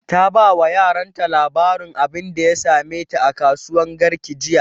ta ba wa yaran ta labarin abunda ya same ta a kasuwan garki jiya